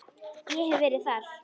Ég hef verið þar.